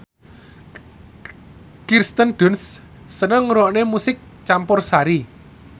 Kirsten Dunst seneng ngrungokne musik campursari